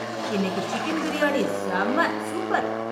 இன்னைக்கு சிக்கன் பிரியாணி செம்ம சூப்பர்.